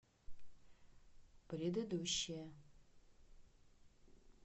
предыдущая